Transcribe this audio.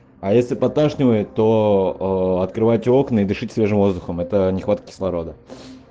а если подташнивает то открывайте окна и дышать свежим воздухом это нехватка кислорода